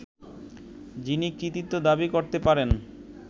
যিনি কৃতিত্ব দাবি করতে পারেন